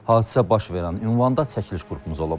Hadisə baş verən ünvanda çəkiliş qrupumuz olub.